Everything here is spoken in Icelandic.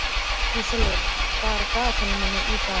Ísólfur, hvað er í dagatalinu mínu í dag?